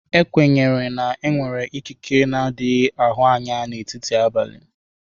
E kwenyere na enwere ikike n'adighi ahụ anya na etiti abalị.